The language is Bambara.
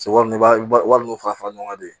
Wari wariw fara fara ɲɔgɔn kan de